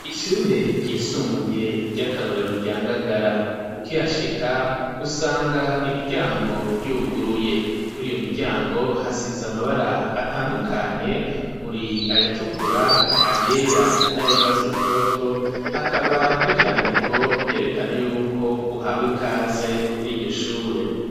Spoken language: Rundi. Ishure ryisumbuye ry'akarorero rya Ngagara ukihashika usanga imiryango y'uguruye kuriyo miryango hasize amabara atandukanye uri ayatukura ayera n'ayurwatsi rutoto hakaba n'ivyandiko vyerekana yuko uhawe ikaze kuriryo shure.